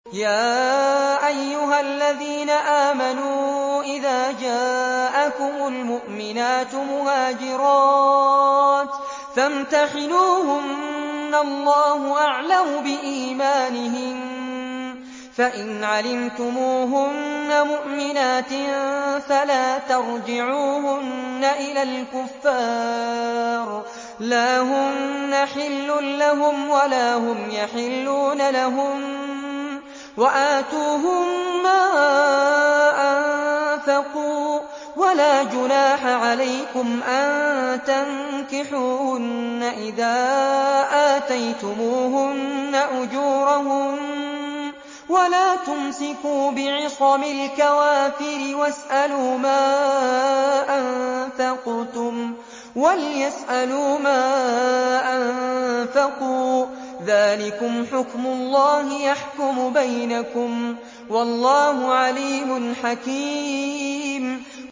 يَا أَيُّهَا الَّذِينَ آمَنُوا إِذَا جَاءَكُمُ الْمُؤْمِنَاتُ مُهَاجِرَاتٍ فَامْتَحِنُوهُنَّ ۖ اللَّهُ أَعْلَمُ بِإِيمَانِهِنَّ ۖ فَإِنْ عَلِمْتُمُوهُنَّ مُؤْمِنَاتٍ فَلَا تَرْجِعُوهُنَّ إِلَى الْكُفَّارِ ۖ لَا هُنَّ حِلٌّ لَّهُمْ وَلَا هُمْ يَحِلُّونَ لَهُنَّ ۖ وَآتُوهُم مَّا أَنفَقُوا ۚ وَلَا جُنَاحَ عَلَيْكُمْ أَن تَنكِحُوهُنَّ إِذَا آتَيْتُمُوهُنَّ أُجُورَهُنَّ ۚ وَلَا تُمْسِكُوا بِعِصَمِ الْكَوَافِرِ وَاسْأَلُوا مَا أَنفَقْتُمْ وَلْيَسْأَلُوا مَا أَنفَقُوا ۚ ذَٰلِكُمْ حُكْمُ اللَّهِ ۖ يَحْكُمُ بَيْنَكُمْ ۚ وَاللَّهُ عَلِيمٌ حَكِيمٌ